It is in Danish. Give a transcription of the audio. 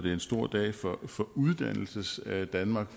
er en stor dag for for uddannelsesdanmark